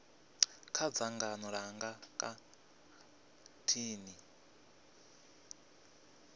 kha dzangano langa nga nthani